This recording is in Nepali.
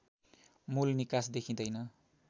मूल निकास देखिँदैन